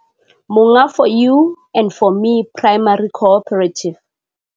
Monga 4 U and 4 Me Primary Cooperative.